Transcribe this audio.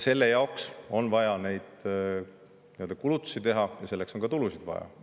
Seetõttu on vaja neid kulutusi teha ja selleks on ka tulusid vaja.